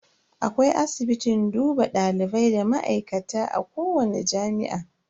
Akwai asibitin duba dalibai da ma'aikata a kowani jami'a.